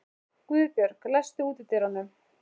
Guðbjörg, læstu útidyrunum.